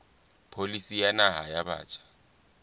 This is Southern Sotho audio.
pholisi ya naha ya batjha